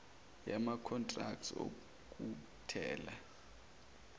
yama contracts okuthela